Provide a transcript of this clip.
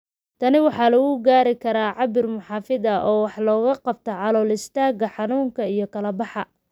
Tan waxaa lagu gaari karaa cabbir muxaafid ah oo wax ka qabta calool-istaagga, xanuunka iyo kala-baxa.